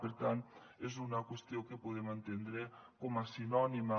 per tant és una qüestió que podem entendre com a sinònima